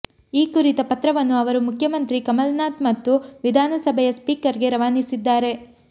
ಈ ಕುರಿತ ಪತ್ರವನ್ನು ಅವರು ಮುಖ್ಯಮಂತ್ರಿ ಕಮಲ್ನಾಥ್ ಮತ್ತು ವಿಧಾನಸಭೆಯ ಸ್ಪೀಕರ್ಗೆ ರವಾನಿಸಿದ್ದಾರೆ